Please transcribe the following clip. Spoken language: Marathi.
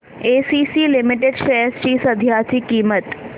एसीसी लिमिटेड शेअर्स ची सध्याची किंमत